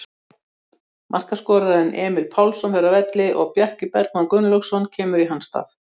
Markaskorarinn Emil Pálsson fer af velli og Bjarki Bergmann Gunnlaugsson kemur í hans stað.